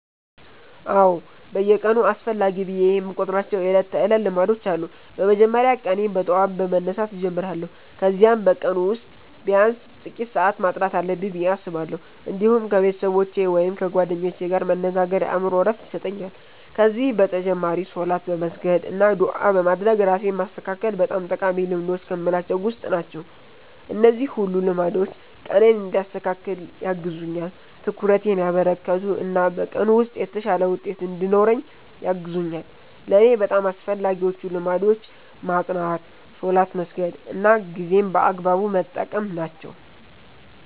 አዎ፣ በየቀኑ አስፈላጊ ብዬ የምቆጥራቸው የዕለት ተዕለት ልማዶች አሉ። በመጀመሪያ ቀኔን በጠዋት በመነሳት እጀምራለሁ፣ ከዚያም በቀኑ ውስጥ ቢያንስ ጥቂት ሰዓት ማጥናት አለብኝ ብዬ አስባለሁ። እንዲሁም ከቤተሰቦቼ ወይም ከጓደኞቼ ጋር መነጋገር የአእምሮ ዕረፍት ይሰጠኛል። ከዚህ በተጨማሪ ሶላት በመስገድ አና ዱዓ በማድረግ ራሴን ማስተካከል በጣም ጠቃሚ ልማዶች ከምላቸዉ ዉስጥ ናቸው። እነዚህ ሁሉ ልማዶች ቀኔን እንዲያስተካክል ያግዙኛል፣ ትኩረቴን ያበረከቱ እና በቀኑ ውስጥ የተሻለ ውጤት እንድኖረኝ ያግዙኛል። ለእኔ በጣም አስፈላጊዎቹ ልማዶች ማጥናት፣ ሶላት መስገድ እና ጊዜን በአግባቡ መጠቀም ናቸው።